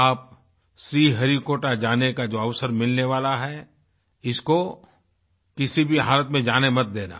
आप श्रीहरिकोटा जाने का जो अवसर मिलने वाला है इसको किसी भी हालत में जाने मत देना